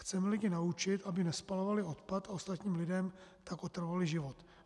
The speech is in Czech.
Chceme lidi naučit, aby nespalovali odpad, a ostatním lidem tak otravovali život.